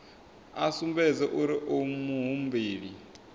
a sumbedze uri u muhumbeli